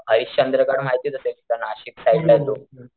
हरिश्चंद्र गड माहितच असेल नाशिक साइडला तो,